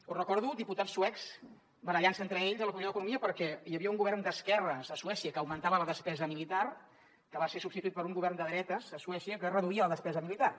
o recordo diputats suecs barallant se entre ells a la comissió d’economia perquè hi havia un govern d’esquerres a suècia que augmentava la despesa militar que va ser substituït per un govern de dretes a suècia que reduïa la despesa militar